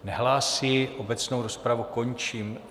Nehlásí, obecnou rozpravu končím.